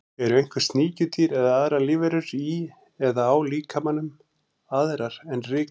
Eru einhver sníkjudýr eða aðrar lífverur í eða á líkamanum, aðrar en rykmaurar?